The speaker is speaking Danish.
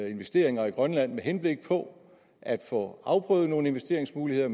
investeringer i grønland med henblik på at få afprøvet nogle investeringsmuligheder